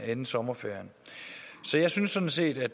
inden sommerferien så jeg synes sådan set at